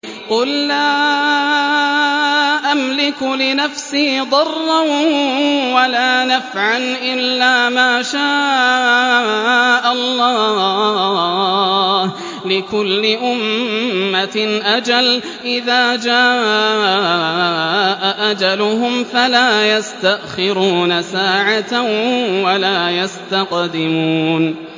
قُل لَّا أَمْلِكُ لِنَفْسِي ضَرًّا وَلَا نَفْعًا إِلَّا مَا شَاءَ اللَّهُ ۗ لِكُلِّ أُمَّةٍ أَجَلٌ ۚ إِذَا جَاءَ أَجَلُهُمْ فَلَا يَسْتَأْخِرُونَ سَاعَةً ۖ وَلَا يَسْتَقْدِمُونَ